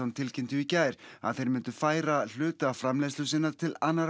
tilkynntu í gær að þeir myndu færa hluta framleiðslunnar til annarra